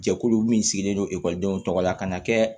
Jɛkulu min sigilen don ekɔlidenw tɔgɔ la ka na kɛ